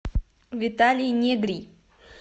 виталий негрий